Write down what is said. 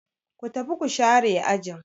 Ku tafi ku share ajin.